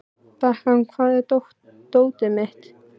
Bekan, hvar er dótið mitt?